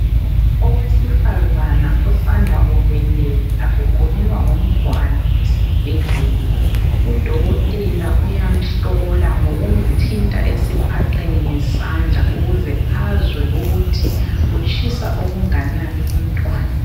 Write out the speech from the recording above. Owesifazana osanda kubeletha ugulelwa ngumntwana esibhedlela. Udokotela uyamhlola ngokumthinta esiphaqeni ngesandla ukwenzela ukuthi azwe ukuthi utshisa okunganani umntwana.